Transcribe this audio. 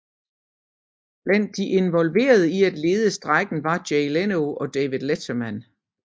Blandt de involverede i at lede strejken var Jay Leno og David Letterman